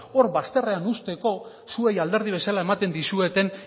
hor bazterrean uzteko zuei alderdi bezala ematen dizueten